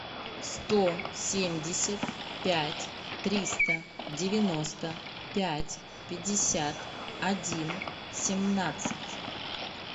сто семьдесят пять триста девяносто пять пятьдесят один семнадцать